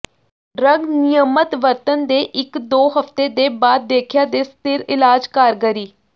drug ਨਿਯਮਤ ਵਰਤਣ ਦੇ ਇੱਕ ਦੋ ਹਫ਼ਤੇ ਦੇ ਬਾਅਦ ਦੇਖਿਆ ਦੇ ਸਥਿਰ ਇਲਾਜ ਕਾਰਗਰੀ